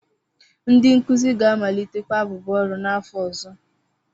Ndị nkuzi ga-amalitekwa abụbọ ọrụ n'afọ ọzọ.